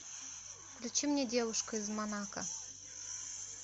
включи мне девушка из монако